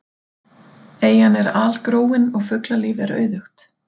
Eyjan er algróin og fuglalíf er auðugt.